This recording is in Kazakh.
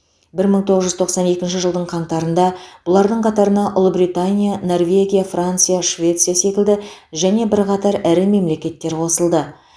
бір мың тоғыз жүз тоқсан екінші жылдың қаңтарында бұлардың қатарына ұлыбритания норвегия франция швеция секілді және бірқатар ірі мемлекеттер қосылды